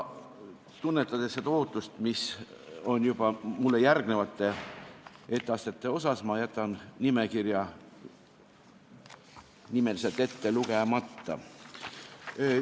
Tunnetades ootust mulle järgnevate etteastete osas, jätan nimekirja nimeliselt ette lugemata.